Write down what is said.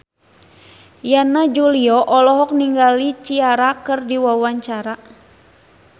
Yana Julio olohok ningali Ciara keur diwawancara